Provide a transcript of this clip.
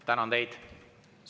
Tänan teid!